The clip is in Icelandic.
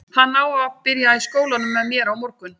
Hann á að reyna að byrja í skólanum með mér á morgun.